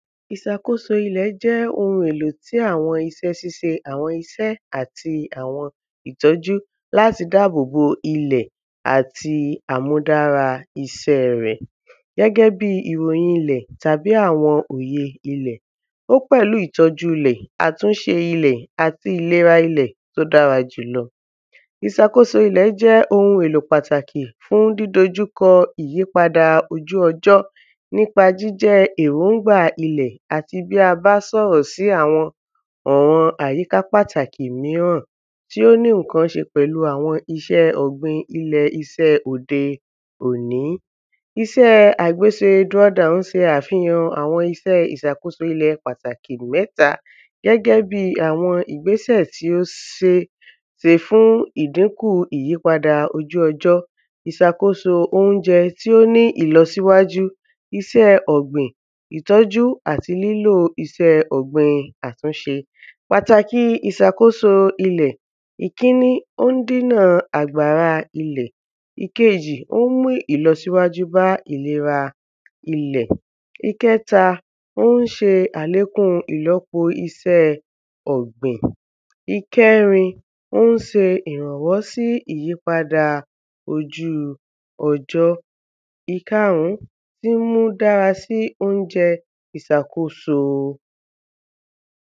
Ìsàkóso ilẹ̀ jẹ́ ohun èlò tí àwọn isẹ́ síse àwọn isẹ́ ìtọ́jú l’áti dábòbò ilẹ̀ àti àmúdára isẹ́ rẹ̀. Gẹ́gẹ́ bí ìròyin ilẹ̀ tàbí àwọn òye ilẹ̀, ó pẹ̀lú ìtọ́jú ilẹ̀, àtúnṣe ilẹ̀, àti ìlera ilẹ̀ t’ó dára jùlọ. Ìsàkóso ilẹ̀ jẹ́ ohun èlò pàtàkì fún dídojú kọ ìyíadà ojú ọjọ́ n’ípa jíjẹ́ èróngbà ilẹ̀ àti bí a bá sọ̀rọ̀ sí àwọn àyíká pàtàkì míràn tí ó ní ǹkan ṣe pẹ̀lú àwọn iṣẹ́ ọ̀gbìn ilẹ̀ iṣẹ́ òde òní Iṣẹ́ àgbeṣ́e ‘draw down’ ń se àwọn isẹ́ ìsàkóso ilẹ̀ pàtàkì mẹ́ta gẹ́gẹ́ bí àwọn ìgbésẹ̀ tí ó se fún idínkù ìyípadà ojú ọjọ́ Ìsàkóso óunjẹ tí ó ní ìlọsíwájú isẹ́ ọ̀gbìn ìtọ́jú àti lílò isẹ́ ọ̀gbìn àtúnṣe Pàtàkì ìsàkóso ilẹ̀ Ìkíní, ó ń dínà àgbàra ilẹ̀ Ìkejì, ó ń mú ìlọsíwájú bá ìlera ilẹ̀ Ìkẹta, ó ń ṣe àlékún ìlọ́po iṣẹ́ ọ̀gbìn Ìkẹrin, ó ń se ìrànwọ́ sí ìyípadà ojú ọjọ́. Ìkarún, ín mú dára sí óunjẹ ìsàkóso.